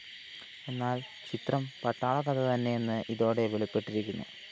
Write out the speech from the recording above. എന്നാല്‍ ചിത്രം പട്ടാള കഥ തന്നെയെന്ന് ഇതോടെ വെളിപ്പെട്ടിരിക്കുന്നു